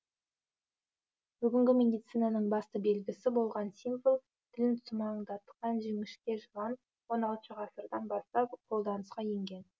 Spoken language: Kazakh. бүгінгі медицинаның басты белгісі болған символ тілін сумаңдатқан жіңішке жылан он алтыншы ғасырдан бастап қолданысқа енген